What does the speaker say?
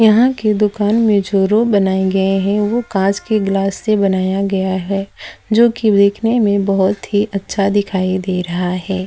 यहां की दुकान में जो रूम बनाए गए हैं वो कांच के गिलास से बनाया गया है जो कि देखने में बहुत ही अच्छा दिखाई दे रहा है।